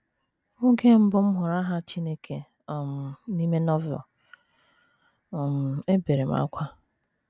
“ Oge mbụ m hụrụ aha Chineke um n’ime Novel, um ebere m ákwá.